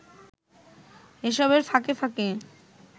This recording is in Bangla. এসবের ফাঁকে ফাঁকে